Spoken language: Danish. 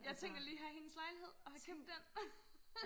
jeg tænker lige og have hendes lejlighed og have købt den